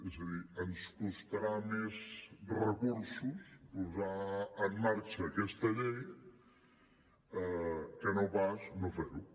és a dir ens costarà més recursos posar en marxa aquesta llei que no pas no fer ho